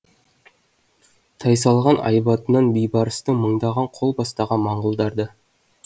тайсалған айбатынан бейбарыстың мыңдаған қол бастаған моңғолдар да